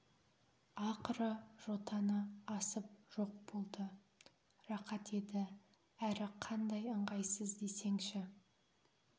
ақыры жотаны асып жоқ болды рақат еді әрі қандай ыңғайсыз десеңші